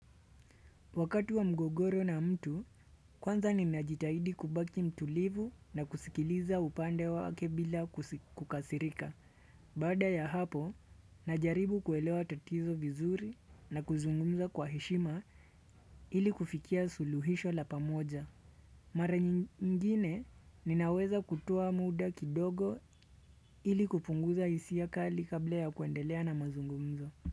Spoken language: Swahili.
Wakati wa mgogoro na mtu, kwanza nina jitahidi kubaki mtulivu na kusikiliza upande wake bila kukasirika. Baada ya hapo, najaribu kuelewa tatizo vizuri na kuzungumza kwa heshima ili kufikia suluhisho la pamoja. Mara nyingine, ninaweza kutoa muda kidogo ili kupunguza hisia kali kabla ya kuendelea na mazungumzo.